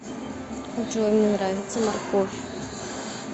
джой мне нравится морковь